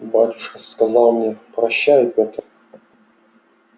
батюшка сказал мне прощай петр